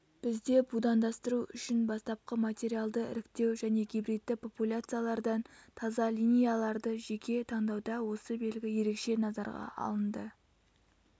бізде будандастыру үшін бастапқы материалды іріктеу және гибридті популяциялардан таза линияларды жеке таңдауда осы белгі ерекше назарға алынды